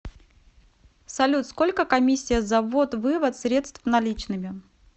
салют сколько комиссия за ввод вывод средств наличными